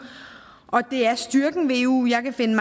og det er styrken ved eu jeg kan finde